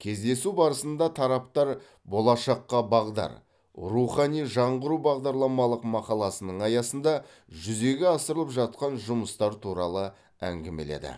кездесу барысында тараптар болашаққа бағдар рухани жаңғыру бағдарламалық мақаласының аясында жүзеге асырылып жатқан жұмыстар туралы әңгімеледі